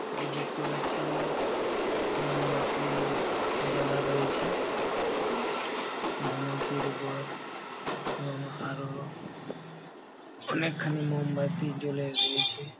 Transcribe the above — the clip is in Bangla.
আমি দেখতে পাচ্ছি-ই মোমবাতি-ই জ্বালা রয়েছে। ধুনুচির উপর এবং আরও অনেকখানি মোমবাতি জ্বলে রয়েছে।